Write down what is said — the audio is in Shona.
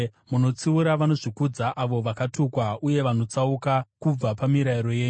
Munotsiura vanozvikudza, avo vakatukwa, uye vanotsauka kubva pamirayiro yenyu.